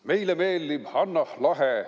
Meile meeldib Hannah Lahe.